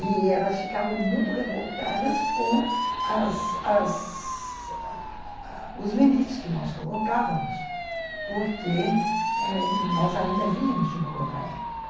E elas ficavam muito revoltadas com as as os limites que nós colocávamos, porque nós ainda vínhamos de uma outra época.